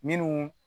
Minnu